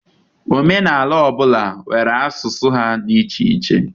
Omenala ọ bụla nwere asụsụ ha dị iche iche.